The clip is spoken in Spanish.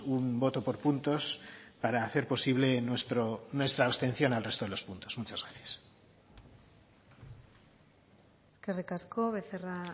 un voto por puntos para hacer posible nuestra abstención al resto de los puntos muchas gracias eskerrik asko becerra